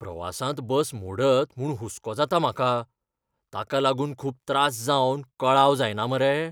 प्रवासांत बस मोडत म्हूण हुसको जाता म्हाका, ताका लागून खूब त्रास जावन कळाव जायना मरे?